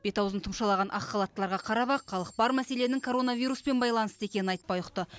бет аузын тұмшалаған ақ халаттыларға қарап ақ халық бар мәселенің коронавируспен байланысты екенін айтпай ұқты